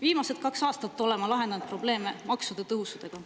" Viimased kaks aastat oleme lahendanud probleeme maksude tõusudega.